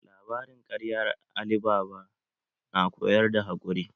Labarin ƙaryar Ali baba na koyar da haƙuri.